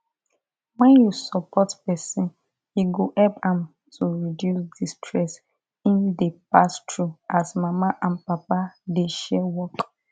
when you support person e go help am to reduce the stress im dey pass through as mama and papa dey share work